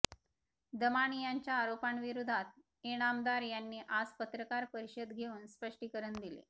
दमानियांच्या आरोपांविरोधात इनामदार यांनी आज पत्रकार परिषद घेऊन स्पष्टीकरण दिले